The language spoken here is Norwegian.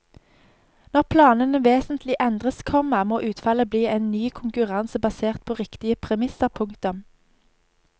Når planene vesentlig endres, komma må utfallet bli en ny konkurranse basert på riktige premisser. punktum